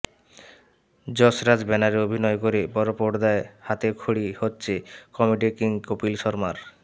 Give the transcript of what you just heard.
যশরাজ ব্যানারে অভিনয় করে বড়পর্দায় হাতে খড়ি হচ্ছে কমেডি কিং কপিল শর্মার